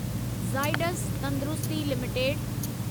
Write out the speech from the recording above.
ज़ाइडस तंदुरुस्ती लिमिटेड